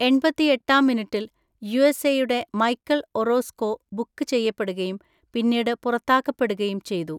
എൺപത്തി ഏട്ടാം മിനിറ്റിൽ യുഎസ്എയുടെ മൈക്കൽ ഒറോസ്‌കോ ബുക്ക് ചെയ്യപ്പെടുകയും പിന്നീട് പുറത്താക്കപ്പെടുകയും ചെയ്തു.